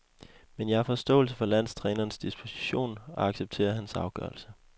Men jeg har forståelse for landstrænerens disposition og accepterer hans afgørelse.